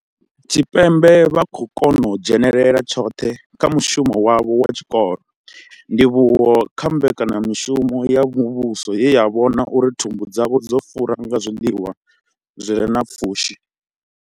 Tshipembe vha khou kona u dzhenela tshoṱhe kha mushumo wavho wa tshikolo, ndivhuwo kha mbekanyamushumo ya muvhuso ye ya vhona uri thumbu dzavho dzo fura nga zwiḽiwa zwi re na pfushi.